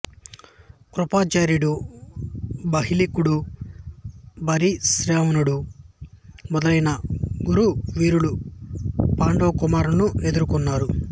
కృపాచార్యుడు బాహ్లికుడు భూరిశ్రవనుడు మొదలైన కురు వీరులు పాండుకుమారులను ఎదుర్కొన్నారు